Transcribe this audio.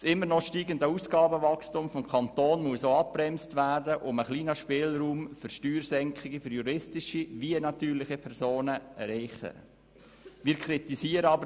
Das noch immer steigende Ausgabenwachstum des Kantons muss so abgebremst werden, sodass ein kleiner Spielraum sowohl für juristische als auch für natürliche Personen erreicht werden kann.